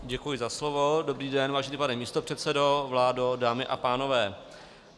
Děkuji za slovo, dobrý den, vážený pane místopředsedo, vládo, dámy a pánové.